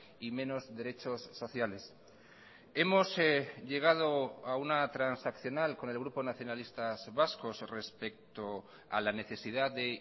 y menos derechos sociales hemos llegado a una transaccional con el grupo nacionalistas vascos respecto a la necesidad de